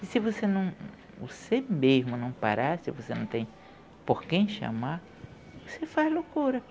E se você não, você mesmo não parar, se você não tem por quem chamar, você faz loucura.